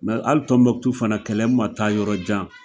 Mɛ ali fana Tɔnbɔkutu kɛlɛ ma taa yɔrɔ jan!